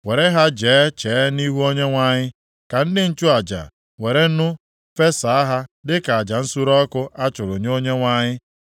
Were ha jee chee nʼihu Onyenwe anyị, ka ndị nchụaja were nnu fesa ha dịka aja nsure ọkụ a chụrụ nye Onyenwe anyị.